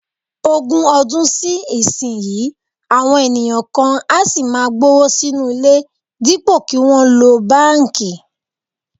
Ogún ọdún sí ìsinyìí, àwọn ènìyàn kan á sì máa gbówó sínú ilé dípò kí wọ́n lo báǹkì